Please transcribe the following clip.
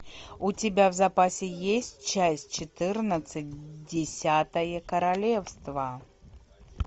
у тебя в запасе есть часть четырнадцать десятое королевство